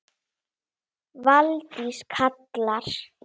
Valdís Klara.